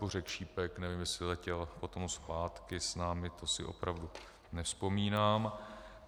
Bořek Šípek - nevím, jestli letěl potom zpátky s námi, to si opravdu nevzpomínám.